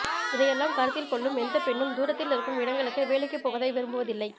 இதையெல்லாம் கருத்தில்கொள்ளும் எந்தப் பெண்ணும் தூரத்தில் இருக்கும் இடங்களுக்கு வேலைக்குப் போவதை விரும்புவதில்லை